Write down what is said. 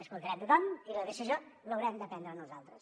escoltarem tothom i la decisió l’haurem de prendre nosaltres